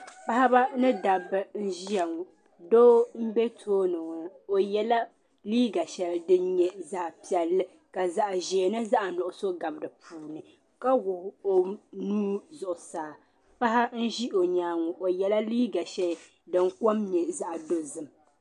Paɣba ni dabba nzɛ ya ŋɔ doo mbɛ tooni ŋɔ o yɛla liiga shɛli dinyɛ zaɣi piɛli ka zaɣi zɛɛ ni zaɣi nuɣiso gabi di puuni ka wuɣi o nuu zuɣu saa paɣa nzɛ o nyanga o yɛla liiga shɛli din kom nyɛ zaɣi dozim.